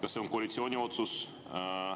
Kas see on koalitsiooni otsus?